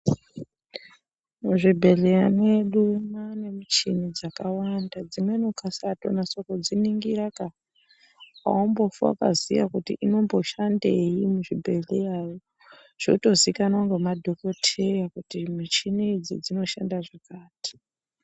Muzvibhehlera mwedu mwaane michina dzakawanda dzimweni ukasatonasodziningiraka aumbofi wakaziya kuti inomboshandeyi muzvibhehleramwo zvotozikanwa ngemadhokodheya kuti mishini idzi dzinoshande zvakati.